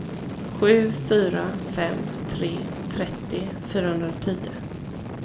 sju fyra fem tre trettio fyrahundratio